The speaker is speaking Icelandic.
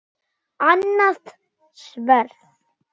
Annað sverð.